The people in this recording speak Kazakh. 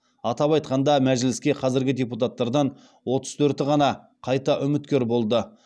атап айтқанда мәжіліске қазіргі депутаттардан отыз төрті ғана қайта үміткер болды